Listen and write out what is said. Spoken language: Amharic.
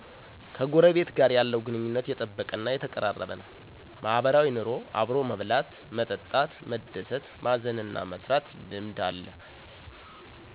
ከጎረቤት ጋር የለው ግንኙነት የጠበቀ እና የተቀራረበ ነው። ማህበራዊ ኑሮ አብሮ የመብላት፣ መጠጣት፣ መደሰት፣ መዘን እና መስረት ልምድ አለ